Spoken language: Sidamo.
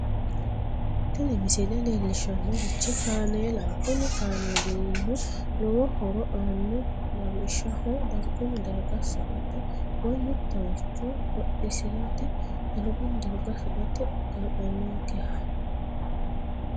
tini misile leellishshannorichi kaameelaho kuni kaameelino lowo horo aanno lawishshaho dargunni darga sa"ate woy mittoricho hodhisirate dargunni darga sa"ate kaa'lannonkkeha.